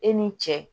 E ni cɛ